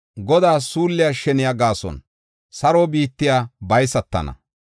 Godaa suulliya sheniya gaason saro biittay baysatana.